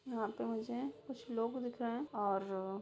यहाँ पे मुझे कुछ लोग दिख रहे है और--